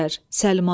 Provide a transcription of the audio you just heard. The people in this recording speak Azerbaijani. Səlma.